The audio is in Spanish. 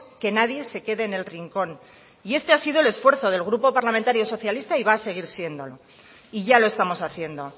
que nadie se quede en el rincón y este ha sido el esfuerzo del grupo parlamentario socialistas y va a seguir siéndolo y ya lo estamos haciendo